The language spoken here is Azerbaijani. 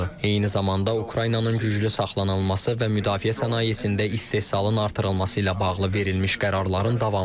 Eyni zamanda Ukraynanın güclü saxlanılması və müdafiə sənayesində istehsalın artırılması ilə bağlı verilmiş qərarların davamıdır.